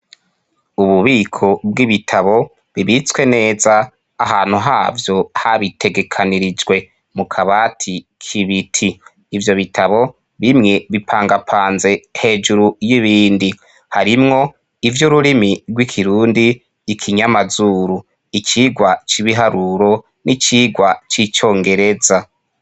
Ububiko bw'ibitabo bibitswe neza ahantu havyo habitegekanirijwe mu kabati k'ibiti ivyo bitabo bimwe bipangapanze hejuru y'ibindi harimwo ivyo rurimi rw'ikirundi, ikinyamazuru icigwa c'ibiharuro n'icigwa c'icongereza.